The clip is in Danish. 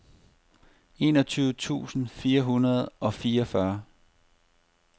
enogtyve tusind fire hundrede og fireogfyrre